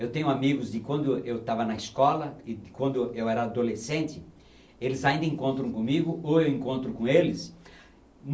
Eu tenho amigos de quando eu eu estava na escola e de quando eu eu era adolescente, eles ainda encontram comigo ou eu encontro com eles.